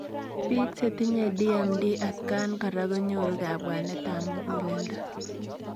Piik chetinye DMD atakaan koraa konyoruu kabwaneet ap muguleldo